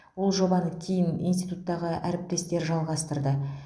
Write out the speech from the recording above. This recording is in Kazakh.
ол жобаны кейін институттағы әріптестер жалғастырды